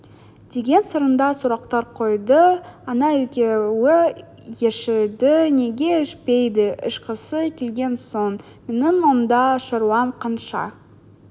деген сарында сұрақтар қойды ана екеуі ішеді неге ішпейді ішкісі келген соң менің онда шаруам қанша